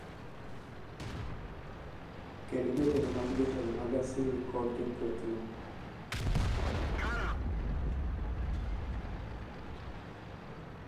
kendo jotelo mag jotelo mag Asili kod jo kwethno